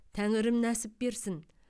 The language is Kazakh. тәңірім нәсіп берсін